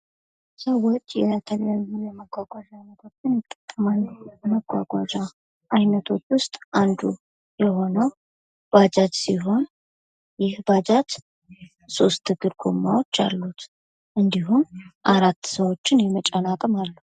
ሰዎች የተለያዩ የመጓጓዣ አይነቶችን ይጠቀማሉ ከመጓጓዣ አይነቶች ውስጥ አንዱ የሆነው ባጃጅ ሲሆን ይህ ባጃጅ ሶስት እግር ጎማዎች አለት እንድሁም አራት ሰዎችን የመጫን አቅም አለው።